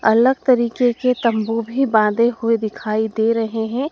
अलग तरीके के तंबू भी बांधे हुए दिखाई दे रहे हैं।